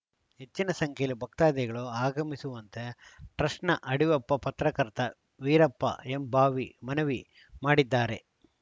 ಹೆಚ್ಚಿನ ಸಂಖ್ಯೆಯಲ್ಲಿ ಭಕ್ತಾಧಿಗಳು ಆಗಮಿಸುವಂತೆ ಟ್ರಸ್ಟ್‌ನ ಅಡಿವೆಪ್ಪ ಪತ್ರಕರ್ತ ವೀರಪ್ಪ ಎಂಬಾವಿ ಮನವಿ ಮಾಡಿದ್ದಾರೆ